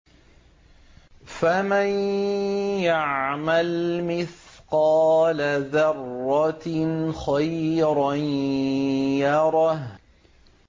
فَمَن يَعْمَلْ مِثْقَالَ ذَرَّةٍ خَيْرًا يَرَهُ